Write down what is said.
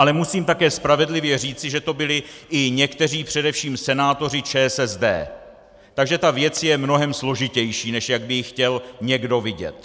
Ale musím také spravedlivě říci, že to byli i někteří především senátoři ČSSD, takže tato věc je mnohem složitější, než jak by ji chtěl někdo vidět.